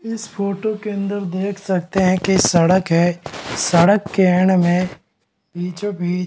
इस फोटो के अंदर देख सकते है की सड़क है सड़क के एंड में बीचो बिच --